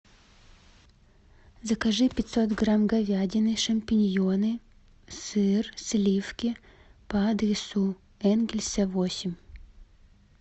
закажи пятьсот грамм говядины шампиньоны сыр сливки по адресу энгельса восемь